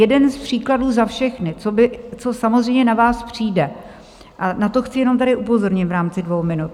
Jeden z příkladů za všechny, co samozřejmě na vás přijde, a na to chci jenom tady upozornit v rámci dvou minut.